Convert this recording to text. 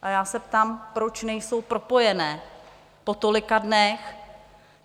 A já se ptám, proč nejsou propojené po tolika dnech.